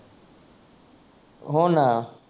हो ना